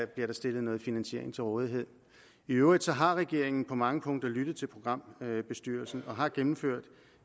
bliver der stillet noget finansiering til rådighed i øvrigt har regeringen på mange punkter lyttet til programbestyrelsen og har gennemført